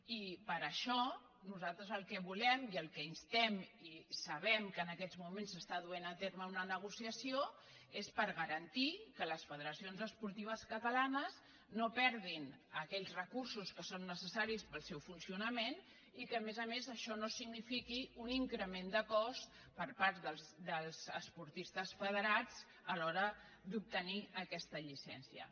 i per ai·xò nosaltres el que volem i al que instem i sabem que en aquests moments s’està duent a terme una negoci·ació és garantir que les federacions esportives catala·nes no perdin aquells recursos que són necessaris per al seu funcionament i que a més a més això no signi·fiqui un increment de cost per part dels esportistes fe·derats a l’hora d’obtenir aquesta llicència